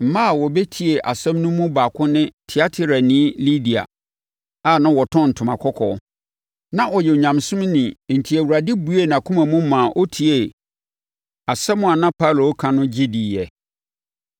Mmaa a wɔbɛtiee asɛm no mu baako ne Tiatirani Lidia a na ɔtɔn ntoma kɔkɔɔ. Na ɔyɛ Onyamesom ni enti Awurade buee nʼakoma mu maa ɔtiee asɛm a na Paulo reka no, gye diiɛ.